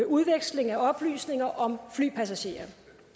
udveksling af oplysninger om flypassagerer